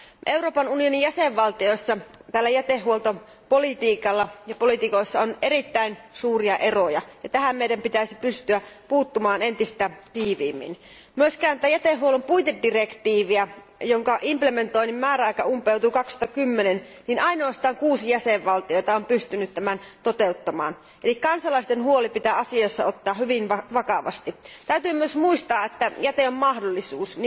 Euroopan unionin jäsenvaltioissa jätehuoltopoliitikoissa on erittäin suuria eroja, ja tähän meidän pitäisi pystyä puuttumaan entistä tiiviimmin. Jätehuollon puitedirektiivin täytäntöönpanon määräaika umpeutui 2010, ja ainoastaan kuusi jäsenvaltiota on pystynyt tämän toteuttamaan, eli kansalaisten huoli pitää asiassa ottaa hyvin vakavasti. Täytyy myös muistaa, että jäte on mahdollisuus.